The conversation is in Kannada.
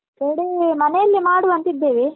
Birthday ಮನೆಯಲ್ಲೇ ಮಾಡುವಂತ ಇದ್ದೇವೆ.